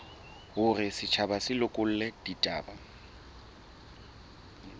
hore setjhaba se lekole ditaba